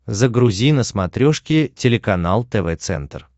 загрузи на смотрешке телеканал тв центр